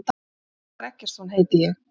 Valdimar Eggertsson heiti ég.